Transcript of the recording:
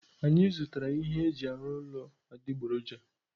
Anyị zụtara ihe eji arụ ụlọ adịgboroja.